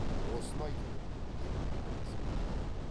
осыны айтып ем деп әңгімесін бітірді